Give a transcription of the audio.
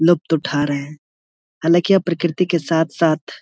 लुप्त उठा रहे हैं हालांकि आप प्रकृति के साथ-साथ --